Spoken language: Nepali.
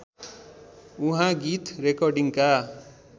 उहाँ गीत रेकर्डिङका